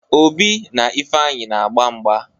Obi na Ifeanyị na-agba mgba.